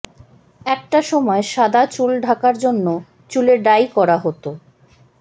একটা সময় সাদা চুল ঢাকার জন্য চুলে ডাই করা হতো